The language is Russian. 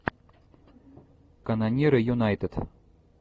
канониры юнайтед